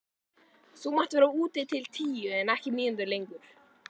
Þú mátt vera úti til tíu en ekki mínútu lengur.